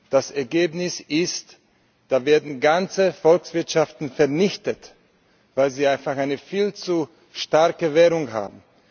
Das Ergebnis ist Da werden ganze Volkswirtschaften vernichtet, weil sie einfach eine viel zu starke Währung haben.